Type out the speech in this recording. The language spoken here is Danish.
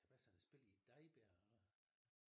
Kan det passe han har spillet i Dejbjerg og